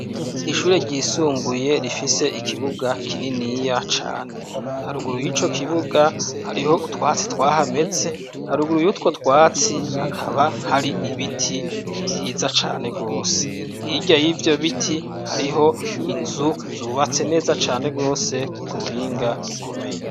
Ishure ryisumbuye rifise ikibuga kininiya cane haruguru ye ico kibuga hariho utwatsi twahameze haruguru y'utwo twatsi hakaba hari ibiti vyiza cane rwose hirya y'ivyo biti hariho inzu zubatse neza cane rwose kubuhinga bukomeye.